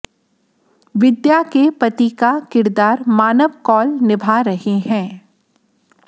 विद्या के पति का किरदार मानव कौल निभा रहे हैं